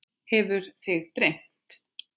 Hefur þig dreymt?